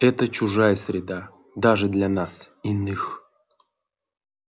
это чужая среда даже для нас иных